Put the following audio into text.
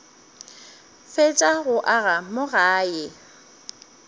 fetša go aga mo gae